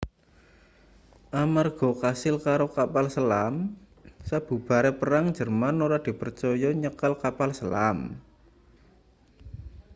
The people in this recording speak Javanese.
amarga kasil karo kapal selam sabubare perang jerman ora dipercaya nyekel kapal selam